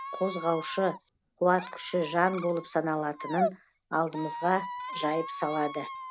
қозғаушы қуат күші жан болып саналатынын алдымызға жайып салады